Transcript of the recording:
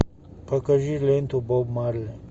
покажи ленту боб марли